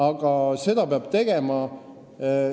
Aga seda peab tegema.